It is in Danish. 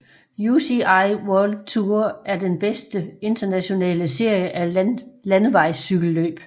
UCI World Tour er den bedste internationale serie af landevejscykelløb